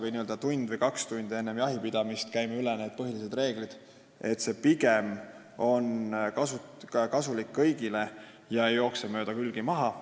See, kui me tund või kaks tundi enne jahipidamist käime põhilised reeglid üle, ei jookse ju mööda külgi maha.